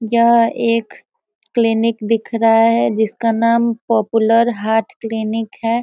यहाँ एक क्लिनिक दिख रहा है जिसका नाम पॉपुलर हार्ट क्लिनिक है।